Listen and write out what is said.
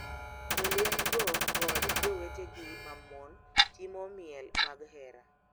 jolwenygo kod jowetegi ma mon timo miel mag hera,